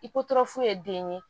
I ko fu ye den ye